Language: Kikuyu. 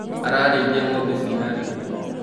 Ararĩithia ngombe cina riri.